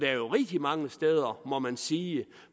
er jo rigtig mange steder må man sige